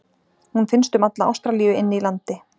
Hún finnst um alla Ástralíu inni í landi.